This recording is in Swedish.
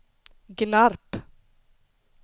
Gnarp